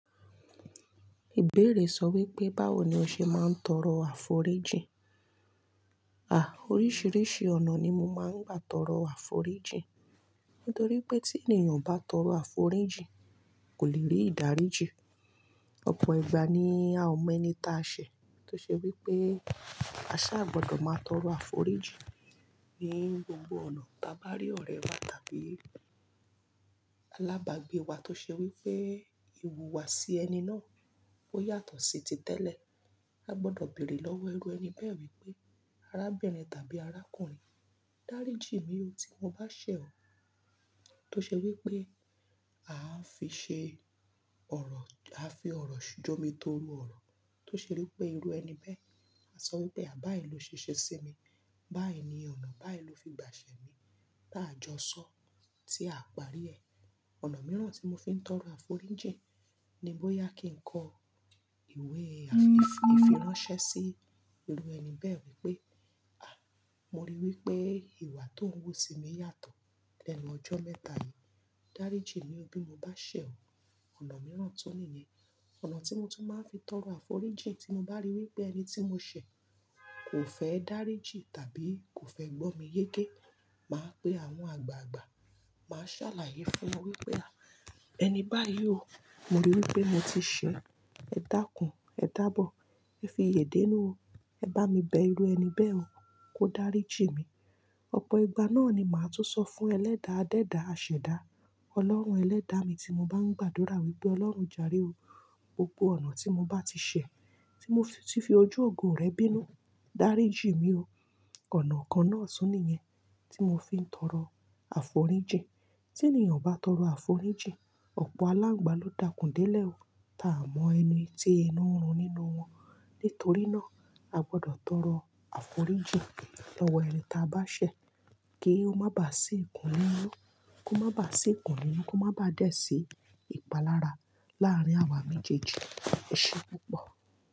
Ìbéèrè sọ wípé báwo ni o ṣe máa ń tọrọ àforíjì? À, oríṣìíríṣìí ọ̀nà ni mo máa ń gbà tọrọ àforíjì. Nítorí pé tí ènìyàn bá tọrọ àforíjì kò lè rí ìdáríjì. Ọ̀pọ̀ ìgbà ni à o mẹ́nì ta ṣẹ̀ tó ṣe wípé a sà gbọdọ̀ máa tọrọ àforíjì ní gbogbo ọ̀nà. Taa bá rí ọ̀rẹ́ wa tàbí alábàágbé wa tó ṣe wípé ìwùwà sí ẹni náà ó yàtọ̀ sí ti tẹ́lẹ̀. A gbọdọ̀ bèrè lọ́wọ́ ẹrú ẹni bẹ́ẹ̀ wípé arábìnrin tàbí arákùnrin, dáríjì mí o tí mo bá ṣẹ̀ ọ tó ṣe wípé a á fi ṣe ọ̀rọ̀, a fi ọ̀rọ̀ jọ́ mi torú ọ̀rọ̀ tó ṣe wípé ẹrú ẹni bẹ́ẹ̀ a sọ wípé àbáyé ló ṣe ṣe sí mi, báyìí ni ọ̀nà, báyìí ló fi gbà ṣẹ̀ mí. Tá jọ́sọ́ tí a parí ẹ̀. Ọ̀nà mìíràn tí mo fi ń tọrọ àforíjì ni bóyá kí n kọ ìwé àfi ìfiránsẹ́ sí irú ẹni bẹ́ẹ̀ wípé, à, mo rí i wípé ìwà tó ń wú sí mi yàtọ̀ lẹ́nu ọjọ́ mẹ́ta yìí. Dáríjì mí o bí mo bá ṣẹ̀ ọ. Ọ̀nà mìíràn tó nìyẹn. Ọ̀nà tí mo tún máa ń fi tọrọ àforíjì tí mo bá rí i wípé ẹni tí mo ṣẹ̀ kò fẹ́ dáríjì tàbí kò fẹ́ gbọ́ mi yéké. Mà á pé àwọn àgbààgbà, mà á ṣàlàyé fún wọn wípé, à, ẹni báyìí o, mo rí i wípé mo ti ṣẹ̀, kò dákùn, kò dáàbọ̀, kò fi iye dè nu o, ẹ bá mi bẹ irú ẹni bẹ́ẹ̀ o, kó dáríjì mí. Ọ̀pọ̀ ìgbà náà ni mà á tún sọ fún ẹlẹ́dàá, dẹ́dàá, àṣẹ̀dáá, Ọlọ́run ẹlẹ́dàá mi tí mo bá ń gbàdúrà wípé Ọlọ́run járe o, gbogbo ọ̀nà tí mo bá ti ṣẹ̀, tí mo ti fi ojú ògo rẹ̀ bínú, dáríjì mí o. Ọ̀nà kan náà tún nìyẹn tí mo fi ń tọrọ àforíjì. Tí ènìyàn bá tọrọ àforíjì, ọ̀pọ̀ aláǹgbà ló dákùn délẹ̀ o tá a mọ ẹni tí inú ń run nínú wọn. Nítorí náà a gbọdọ̀ tọrọ àforíjì lọ́wọ́ ẹni tá a bá ṣẹ̀ kí ó má bà sí ìkùn lílú, kó má bà sí ìkùn lílú, kó má bà dẹ́ sí ìpalára láàárín àwa méjèèjì. Ṣé púpọ̀?